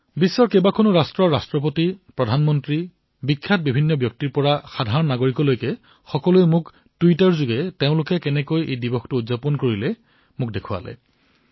বিশ্বৰ বিভিন্ন দেশৰ ৰাষ্ট্ৰপতি প্ৰধানমন্ত্ৰী খ্যাতনামা লোক সাধাৰণ নাগৰিকে মোক টুইটাৰত দেখুৱাইছে যে কিদৰে তেওঁলোকে নিজৰ নিজৰ দেশত যোগ দিৱস পালন কৰিছে